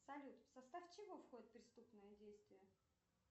салют в состав чего входит преступное действие